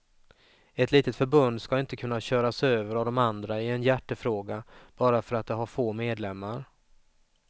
Ett litet förbund ska inte kunna köras över av de andra i en hjärtefråga bara för att det har få medlemmar.